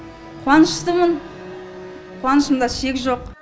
қуаныштымын қуанышымда шек жоқ